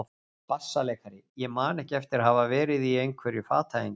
BASSALEIKARI: Ég man ekki eftir að hafa verið í einhverju fatahengi.